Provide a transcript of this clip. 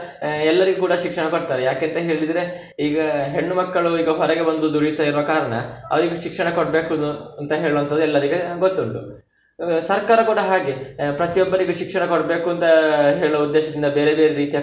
ಎಲ್ಲರಿಗೂ ಕೂಡ ಶಿಕ್ಷಣ ಕೊಡ್ತಾರೆ ಯಾಕೆಂತ ಹೇಳಿದ್ರೆ, ಈಗ ಹೆಣ್ಣು ಮಕ್ಕಳು ಈಗ ಹೊರಗೆ ಬಂದು ದುಡಿಯುತ್ತ ಇರುವ ಕಾರಣ ಅವ್ರಿಗೆ ಶಿಕ್ಷಣ ಕೊಡ್ಬೇಕ್ ಇನ್ನು ಅಂತ ಹೇಳುವಂತದ್ದು ಎಲ್ಲರಿಗೆ ಗೊತ್ತುಂಟು. ಸರ್ಕಾರ ಕೂಡ ಹಾಗೆ ಪ್ರತಿ ಒಬ್ಬರಿಗೂ ಶಿಕ್ಷಣ ಕೊಡ್ಬೇಕುಂತ ಹೇಳುವ ಉದ್ದೇಶದಿಂದ ಬೇರೆ ಬೇರೆ ರೀತಿಯ.